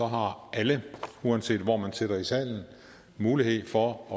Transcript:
har alle uanset hvor man sidder i salen mulighed for at